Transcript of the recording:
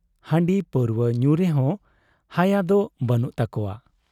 ᱦᱟᱺᱰᱤ ᱯᱟᱹᱣᱨᱩᱣᱟᱹ ᱧᱩ ᱨᱮᱦᱚᱸ ᱦᱟᱭᱟᱫᱚ ᱵᱟᱹᱱᱩᱜ ᱛᱟᱠᱚᱣᱟ ᱾